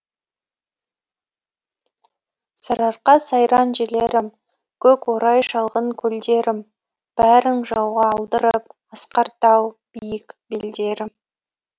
сарыарқа сайран жерлерім көк орай шалғын көлдерім бәрін жауға алдырып асқар тау биік белдерім